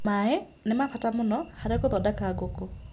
Maĩ nĩ ma bata mũno harĩ gũthondeka ngũkũ.